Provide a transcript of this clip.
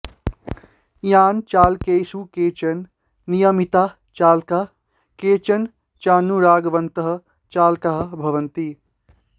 यानचालकेषु केचन नियमिताः चालकाः केचन चानुरागवन्तः चालकाः भवन्ति